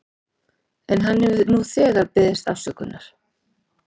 En hann hefur nú þegar beðist afsökunar.